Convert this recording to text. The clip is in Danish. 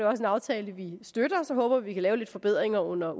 også en aftale vi støtter så håber vi vi kan lave lidt forbedringer under